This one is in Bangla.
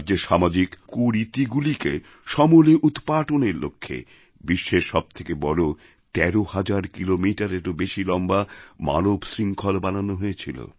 রাজ্যের সামাজিক কুরীতিগুলিকে সমূলে উৎপাটনের লক্ষ্যে বিশ্বের সব থেকে বড় ১৩০০০ কিলোমিটাররও বেশি লম্বা মানব শৃঙ্খল বানানো হয়েছিল